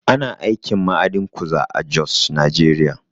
Ana aikin ma'adin kuza a Jos, Najeriya